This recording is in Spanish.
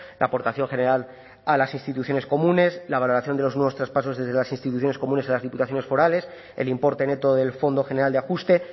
la aportación general a las instituciones comunes la valoración de los nuevos traspasos desde las instituciones comunes a las diputaciones forales el importe neto del fondo general de ajuste